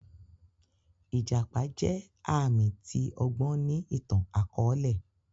Ijàpá jẹ aami ti ọgbọn ni ìtan-akọọlẹ.